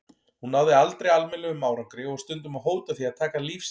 Hún náði aldrei almennilegum árangri og var stundum að hóta því að taka líf sitt.